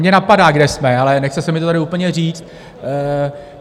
Mě napadá, kde jsme, ale nechce se mi to tady úplně říct.